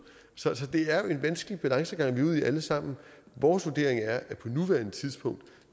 så det er jo en vanskelig balancegang vi er ude i alle sammen vores vurdering er at på nuværende tidspunkt